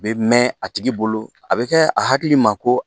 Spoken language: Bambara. bɛ mɛn a tigi bolo a bɛ kɛ a hakili ma ko